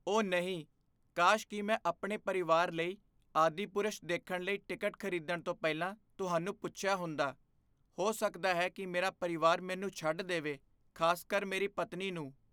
ਓਹ ਨਹੀਂ! ਕਾਸ਼ ਕਿ ਮੈਂ ਆਪਣੇ ਪਰਿਵਾਰ ਲਈ "ਆਦਿਪੁਰਸ਼" ਦੇਖਣ ਲਈ ਟਿਕਟ ਖ਼ਰੀਦਣ ਤੋਂ ਪਹਿਲਾਂ ਤੁਹਾਨੂੰ ਪੁੱਛਿਆ ਹੁੰਦਾ। ਹੋ ਸਕਦਾ ਹੈ ਕਿ ਮੇਰਾ ਪਰਿਵਾਰ ਮੈਨੂੰ ਛੱਡ ਦੇਵੇ, ਖ਼ਾਸਕਰ ਮੇਰੀ ਪਤਨੀ ਨੂੰ।